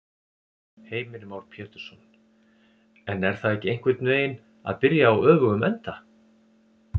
Heimir Már Pétursson: En er það ekki einhvern veginn að byrja á öfugum enda?